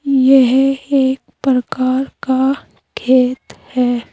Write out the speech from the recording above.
यह एक प्रकार का खेत है।